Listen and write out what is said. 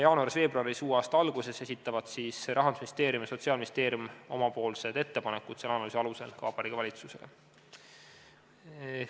Jaanuaris-veebruaris, uue aasta alguses esitavad Rahandusministeerium ja Sotsiaalministeerium oma ettepanekud selle analüüsi alusel ka Vabariigi Valitsusele.